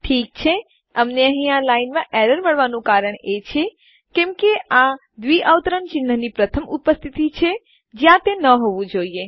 ઠીક છે અમને અહીં આ લાઈન રેખામાં એરર ત્રુટી મળવાનું કારણ એ છે કે કેમ કે આ ડબલ ક્વોટ્સ દ્વિઅવતરણ ચિન્હની પ્રથમ ઉપસ્તીથી છે જ્યાં તે ન હોવું જોઈએ